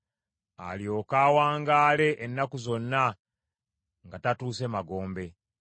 alyoke awangaale ennaku zonna nga tatuuse magombe.